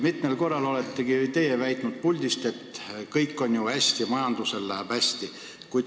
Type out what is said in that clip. Mitmel korral olete teie siit puldist väitnud, et kõik on ju hästi, majandusel läheb hästi.